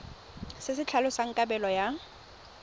se se tlhalosang kabelo ya